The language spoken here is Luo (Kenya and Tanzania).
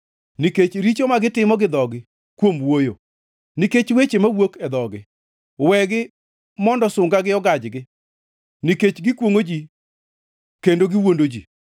Nikech richo ma gitimo gi dhogi kuom wuoyo, nikech weche mawuok e dhogi, wegi mondo sungagi ogajgi. Nikech gikwongʼo ji kendo gi wuondo ji,